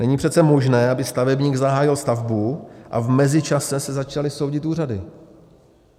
Není přece možné, aby stavebník zahájil stavbu a v mezičase se začaly soudit úřady.